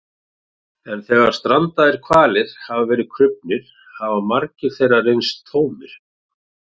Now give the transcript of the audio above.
En þegar strandaðir hvalir hafa verið krufnir hafa magar þeirra reynst vera tómir.